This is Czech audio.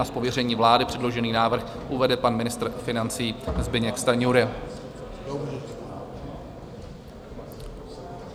Z pověření vlády předložený návrh uvede pan ministr financí Zbyněk Stanjura.